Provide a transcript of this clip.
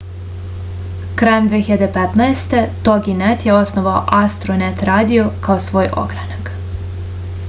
krajem 2015 toginet je osnovao astronet radio kao svoj ogranak